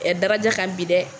Ɛ daraja ka bi dɛ.